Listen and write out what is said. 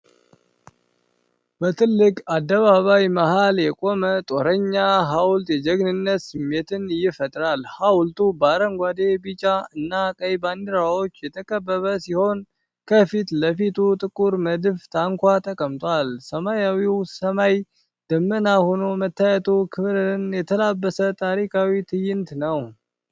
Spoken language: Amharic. በትልቅ አደባባይ መሀል የቆመው የጦረኛ ሐውልት የጀግንነት ስሜትን ይፈጥራል። ሐውልቱ በአረንጓዴ፣ ቢጫ እና ቀይ ባንዲራዎች የተከበበ ሲሆን፣ ከፊት ለፊቱ ጥቁር መድፍ ታንኳ ተቀምጧል። ሰማያዊው ሰማይ ደመናማ ሆኖ መታየቱ፣ ክብርን የተላበሰ ታሪካዊ ትዕይንት ነው።